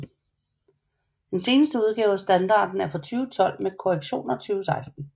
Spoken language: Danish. Den seneste udgave af standarden er fra 2012 med korrektioner 2016